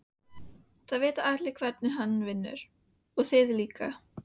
Það vita allir hvernig hann vinnur og þið líka.